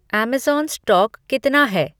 Amazon stock कितना है